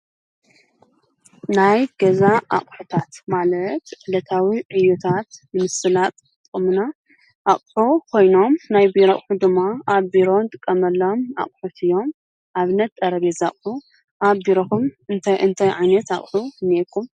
ናይ ገዛ ኣቝሑታት ማለት ዕለታዊ ዕዩታት ንምስላጥ ዝጠቅመና ኣቅሑ ኾይኖም ናይ ቢሮ ኣቕሑ ድማ ኣብ ቢሮ ንጥቀመሎም ኣቝሑት እዮም። ኣብነት ጠረቤዛ ኣቑሑ ኣብ ቢሮኹም እንተይ አንታይ ዓይነት ኣቕሑ ኣለኩም?